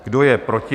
Kdo je proti?